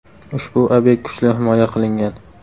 Ushbu obyekt kuchli himoya qilingan.